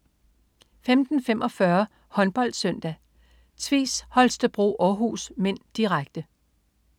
15.45 HåndboldSøndag: Tvis Holstebro-Århus (m), direkte